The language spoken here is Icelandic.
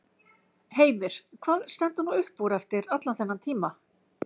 Heimir: Hvað stendur nú upp úr eftir allan þennan tíma?